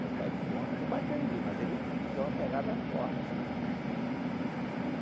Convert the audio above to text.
Meu pai não bateu em mim, mas ele me deu uma pegada forte.